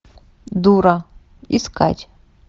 дура искать